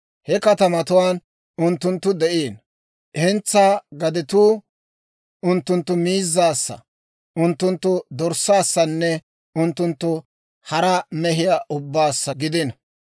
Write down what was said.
He katamatuwaan unttunttu de'ino; hentsaa gadetuu unttunttu miizzaassa, unttunttu dorssaassanne unttunttu hara mehiyaa ubbaassa gidino.